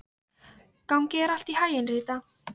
Gangi þér allt í haginn, Rita.